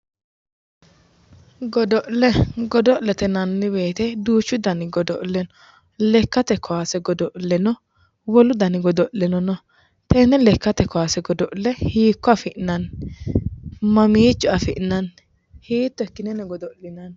Godo'le godo'le yinnanni woyte duuchu danni godo'le no, lekkate kawaase godo'le no, wolu danni godo'leno no, tene lekkate kawaase godo'le hiikko afi'nanni, mamicho afi'nanni hiitto ikkineno godo'linanni.